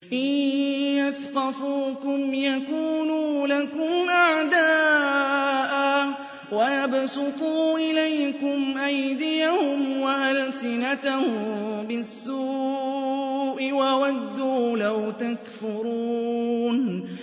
إِن يَثْقَفُوكُمْ يَكُونُوا لَكُمْ أَعْدَاءً وَيَبْسُطُوا إِلَيْكُمْ أَيْدِيَهُمْ وَأَلْسِنَتَهُم بِالسُّوءِ وَوَدُّوا لَوْ تَكْفُرُونَ